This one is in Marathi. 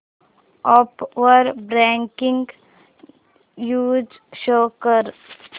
अॅप वर ब्रेकिंग न्यूज शो कर